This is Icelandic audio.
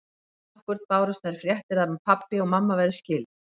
Dag nokkurn bárust þær fréttir að pabbi og mamma væru skilin.